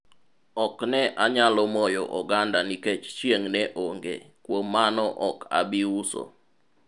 ok ne anyalo moyo oganda nikech chieng' ne onge, kuom mano ok abi uso